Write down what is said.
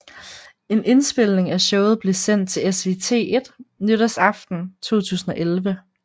En indspilning af showet blev sendt af SVT1 nytårsaften 2011